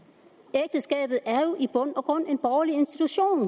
at ægteskabet i bund og grund en borgerlig institution